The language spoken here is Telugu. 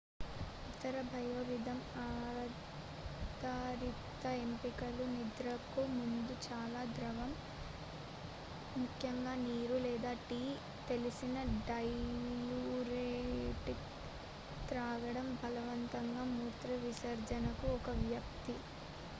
ఇతర biorhythm ఆధారిత ఎంపికలు నిద్రకు ముందు చాలా ద్రవం ముఖ్యంగా నీరు లేదా టీ తెలిసిన డైయూరెటిక్ త్రాగడం బలవంతంగా మూత్రవిసర్జన కు ఒక వ్యక్తి